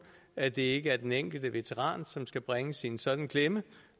at det ikke er den enkelte veteran som skal bringes i en sådan klemme